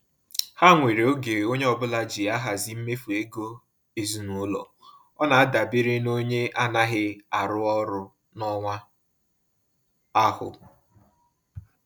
Ha nwere oge onye ọbụla ji ahazi mmefu ego ezinaụlọ, ọ na adabere n'onye anaghị arụ ọrụ n'ọnwa ahu